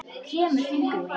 Kremur fingur mína.